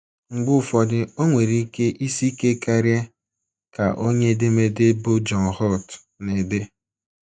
Mgbe ụfọdụ, o nwere ike isi ike karịa, ” ka onye edemede bụ́ John Holt na - ede.